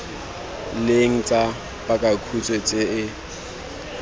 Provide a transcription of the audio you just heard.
leng tsa pakakhutshwe tse e